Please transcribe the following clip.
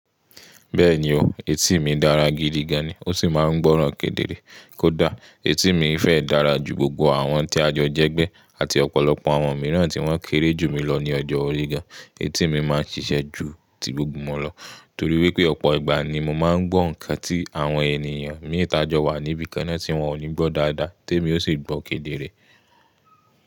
Bẹ́ẹ̀ni o, etí mi dára gidigan ni ó sì máa ń gbọ́ràn kedere kódà etí mi fẹ́ dára ju gbogbo àwọn tí àjọ jẹ́gbẹ́ àti ọ̀pọ̀lọpọ̀ àwọn mìíràn tí wọ́n kéré jù mí lọ ní ọjọ́ orí gan. Etí mi máa ń ṣiṣẹ́ ju ti gbogbo wọn lọ torí wípé ọ̀pọ̀ ìgbà ni mo máa ń gbọ́ ǹkan tí àwọn ènìyàn mí ta jọ wà ní ibi kan na tí wón ò ní gbọ́ dáadáa tèmí ó sì gbọ́ kedere.